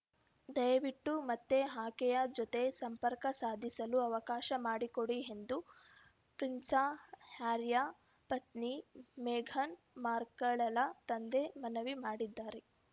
ದಯವಿಟ್ಟು ಮತ್ತೆ ಆಕೆಯ ಜೊತೆ ಸಂಪರ್ಕ ಸಾಧಿಸಲು ಅವಕಾಶ ಮಾಡಿಕೊಡಿ ಎಂದು ಪ್ರಿನ್ಸಸ ಹ್ಯಾರಿಯ ಪತ್ನಿ ಮೇಘನ್‌ ಮಾರ್ಕೆಲ್‌ಳ ತಂದೆ ಮನವಿ ಮಾಡಿದ್ದಾರೆ